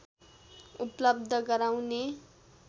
उपलव्ध गराउने